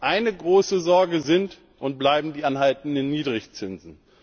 Eine große Sorge sind und bleiben die anhaltenden Niedrigzinsen.